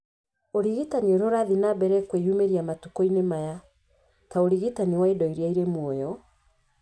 Ũrigitani ũrĩa ũrathiĩ na mbere kwĩyumĩria matukũ-inĩ maya, ta ũrigitani wa indo iria irĩ muoyo,